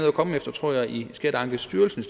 at komme efter tror jeg i skatteankestyrelsen